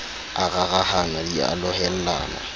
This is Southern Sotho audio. a rarahana di a lohellana